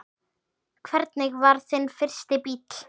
Hvernig var þinn fyrsti bíll?